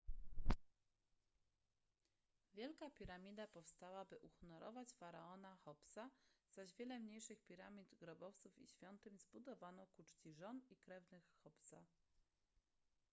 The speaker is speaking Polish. wielka piramida powstała by uhonorować faraona cheopsa zaś wiele mniejszych piramid grobowców i świątyń zbudowano ku czci żon i krewnych cheopsa